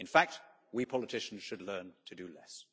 In fact, we politicians should learn to do less.